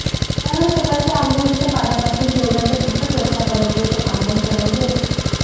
त्यावर सकाळच्या आंघोळीच्या पाण्यापासून जेवणाच्या तिखट रश्श्यापर्यंतचे आंधण चढवलेले असते